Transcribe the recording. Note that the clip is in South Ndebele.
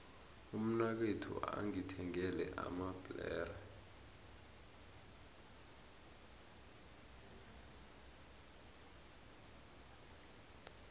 umnakwethu ungithengele amabhlere